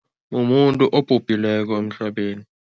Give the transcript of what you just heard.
Mumuntu obhubhileko emhlabeni.